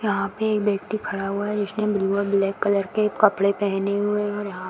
यहाँ पे एक व्यक्ति खड़ा हुआ है जिसने ब्लू और ब्लैक कलर के कपड़े पहने हुए हैं और यहाँ पे --